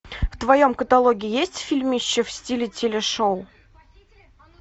в твоем каталоге есть фильмище в стиле теле шоу